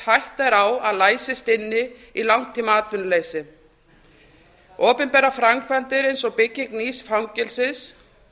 hætta er á að læsist inni í langtímaatvinnuleysi opinberar framkvæmdir eins og bygging nýs fangelsis